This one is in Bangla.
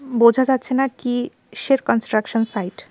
বোঝা যাচ্ছে না কিসের কন্সট্রাকশন সাইট ।